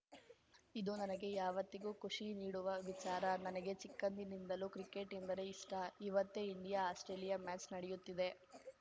ಇದು ನನಗೆ ಯಾವತ್ತಿಗೂ ಖುಷಿ ನೀಡುವ ವಿಚಾರ ನನಗೆ ಚಿಕ್ಕಂದಿನಿಂದಲೂ ಕ್ರಿಕೆಟ್‌ ಎಂದರೆ ಇಷ್ಟ ಇವತ್ತೇ ಇಂಡಿಯಾ ಆಸ್ಪ್ರೇಲಿಯಾ ಮ್ಯಾಚ್‌ ನಡೆಯುತ್ತಿದೆ